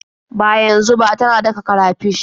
Ba yanzu ba, tana daka karafish.